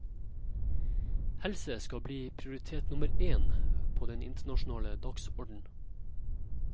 Helse skal bli prioritet nummer én på den internasjonale dagsorden.